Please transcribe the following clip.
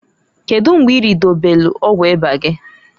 Kedu mgbe iridobelu ọgwụ ịba gị?